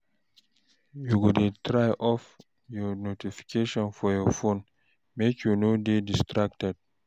You go dey try off notification for your phone, make you no dey distracted.